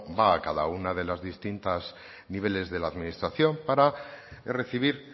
va a cada uno de los distintos niveles de la administración para recibir